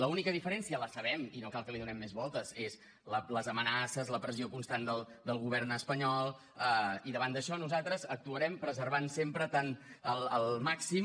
l’única diferència la sabem i no cal que li donem més voltes són les amenaces la pressió constant del govern espanyol i davant d’això nosaltres actuarem preservant sempre tant el màxim